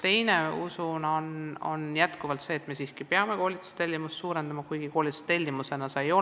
Teine lahendus on koolitustellimuse suurendamine, kuigi koolitustellimusena seda ei saa esitada.